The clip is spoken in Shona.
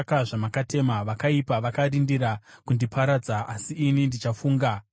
Vakaipa vakarindira kundiparadza, asi ini ndichafunga zvirevo zvenyu.